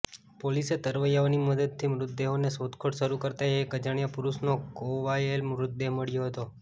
પોલીસે તરવૈયાઓની મદદથી મૃતદેહોની શોધખોળ શરૃ કરતા એક અજાણ્યા પુરૃષનો કોયવાયેલો મૃતદેહ મળ્યો હતો